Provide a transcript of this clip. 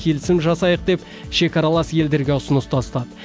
келісім жасайық деп шекаралас елдерге ұсыныс тастады